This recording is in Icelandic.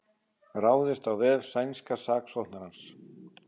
Ráðist á vef sænska saksóknarans